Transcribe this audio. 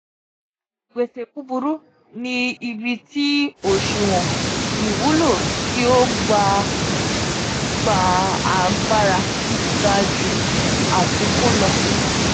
gbese buburu ni ibi ti oṣuwọn iwulo ti o gba gba agbara ga ju afikun lọ.